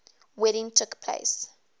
wedding took place